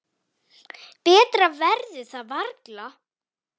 Betra verður það varla.